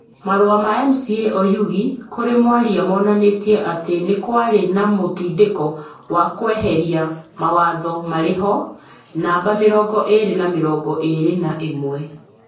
Marũa ma MCA Oyugi kũrĩ mwaria monanirie atĩ nĩ kwarĩ na mũtindĩko wa kweheria mawatho marĩ ho, namba mĩrongo ĩrĩ na mĩrongo ĩrĩ na ĩmwe.